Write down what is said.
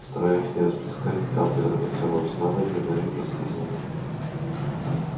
стараясь не расплескать ни капли драгоценного снадобья гарри проскользнул